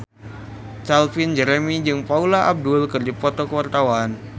Calvin Jeremy jeung Paula Abdul keur dipoto ku wartawan